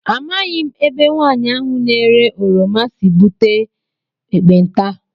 Amaghị m ebe nwaanyị ahụ na -ere oroma sị wee búte ekpenta.